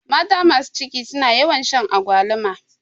Mata masu ciki suna yawan shan agwaluma